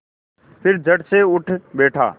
फिर झटसे उठ बैठा